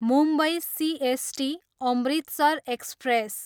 Mumbai CST, Amritsar express